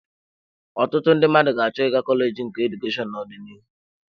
Ọtụtụ ndị mmadụ ga-achọ ịga kọleji nke Edukashonu n'ọdịnihu.